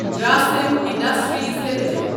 Grasim industries limited